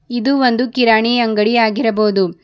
ಇದು ಒಂದು ಕಿರಾಣಿ ಅಂಗಡಿ ಆಗಿರಬಹುದು.